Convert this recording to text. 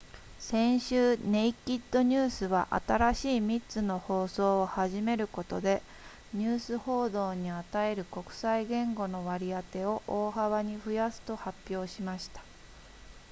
先週ネイキッドニュースは新しい3つの放送を始めることでニュース報道に与える国際言語の割り当てを大幅に増やすと発表しました